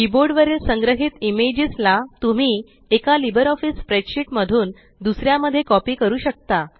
keyboard वरील संग्रहीत images ला तुम्ही एका लिबर ऑफीस स्प्रेडशीट मधून दुसऱ्या मध्ये कॉपी करू शकता